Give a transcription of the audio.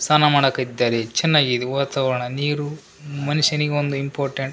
ಸಾನಮಾಡಕಿದ್ದರೆ ಚೆನ್ನಾಗಿದೆ ವಾತಾವರಣ ನೀರು ಮನುಷ್ಯನಿಗೊಂದು ಇಂಪೋರ್ಟೆನ್ಟ್ --